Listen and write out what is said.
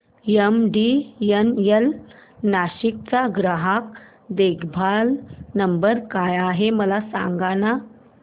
MTNL Nashik चा ग्राहक देखभाल नंबर काय आहे मला सांगाना